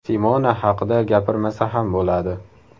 Simona haqida gapirmasa ham bo‘ladi!